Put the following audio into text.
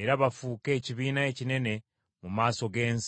Era bafuuke ekibiina ekinene mu maaso g’ensi.”